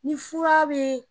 Ni fura be